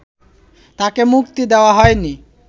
তাকে মুক্তি দেয়া হয়নি